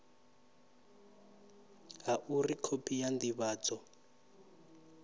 ha uri khophi ya ndivhadzo